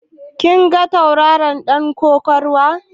Kin ga tauraron ɗan kokawar?